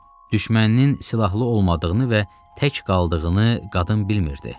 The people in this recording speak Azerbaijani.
Düşməninin silahlı olmadığını və tək qaldığını qadın bilmirdi.